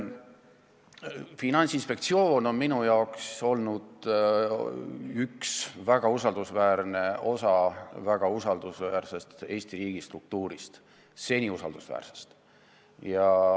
Finantsinspektsioon on minu silmis olnud väga usaldusväärne osa väga usaldusväärsest Eesti riigi struktuurist – seni usaldusväärsest.